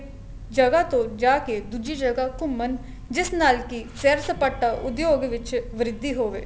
ਜਗ੍ਹਾ ਤੋਂ ਜਾ ਕੇ ਦੂਜੀ ਜਗ੍ਹਾ ਘੁੰਮਣ ਜਿਸ ਨਾਲ ਕੀ ਸੈਰ ਸਪਾਟਾ ਉਦਯੋਗ ਵਿੱਚ ਵ੍ਰਿਧੀ ਹੋਵੇ